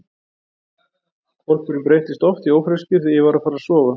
Hvolpurinn breyttist oft í ófreskju þegar ég var að fara að sofa.